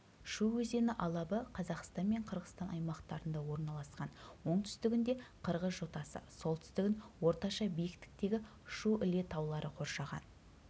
шу өзені алабы қазақстан мен қырғызстан аймақтарында орналасқан оңтүстігінде қырғыз жотасы солтүстігін орташа биіктіктегі шу іле таулары қоршаған